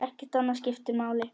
Ekkert annað skiptir máli.